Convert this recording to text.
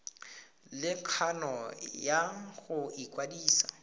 le kgano ya go ikwadisa